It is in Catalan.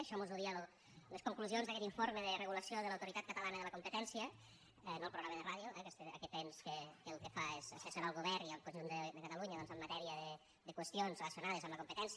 això mos ho deien les conclusions d’aquest informe de regulació de l’autoritat catalana de la competència no el programa de ràdio aquest ens que el que fa és assessorar el govern i el conjunt de catalunya doncs en matèria de qüestions relacionades amb la competència